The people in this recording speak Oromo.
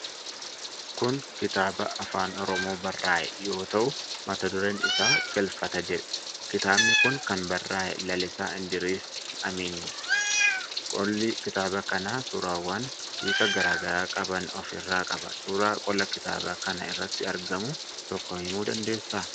Kun kitaaba Afaan Oromoon barraa'e, yoo ta'u, mata dureen isaa 'Galfata' jedha. Kitaabi kun kan barraa'e Lalisaa Indiriis Adamiini. Qolli kitaaba kana suurawwan hiika garaa garaa qaban of irraa qaba. Suura qola kitaaba kanaa irratti argamu tokko himuu dandeessaa?